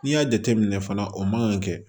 N'i y'a jateminɛ fana o man kan ka kɛ